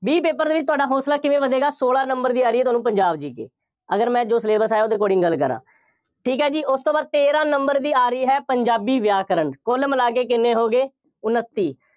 B paper ਦੇ ਵਿੱਚ ਤੁਹਾਡਾ ਹੌਸਲਾ ਕਿਵੇਂ ਵਧੇਗਾ, ਸੋਲਾਂ number ਦੀ ਆ ਰਹੀ ਹੈ ਤੁਹਾਨੂੰ ਪੰਜਾਬ GK ਅਗਰ ਮੈਂ ਜੋ syllabus ਆਇਆ ਉਹਦੇ according ਗੱਲ ਕਰਾਂ, ਠੀਕ ਹੈ ਜੀ, ਉਸ ਤੋਂ ਬਾਅਦ, ਤੇਰਾਂ number ਦੀ ਆ ਰਹੀ ਹੈ, ਪੰਜਾਬੀ ਵਿਆਕਰਣ, ਕੁੱਲ ਮਿਲਾ ਕੇ ਕਿੰਨੇ ਹੋ ਗਏ, ਉਨੱਤੀ,